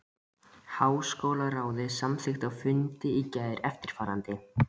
Háskólaráðið samþykkti á fundi í gær eftirfarandi